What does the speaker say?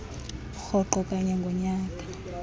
rhoqo kanye ngonyaka